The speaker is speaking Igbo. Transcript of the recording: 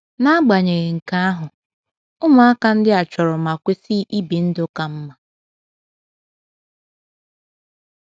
N’agbanyeghị nke ahụ, ụmụaka ndị a chọrọ ma kwesị ibi ndụ ka mma.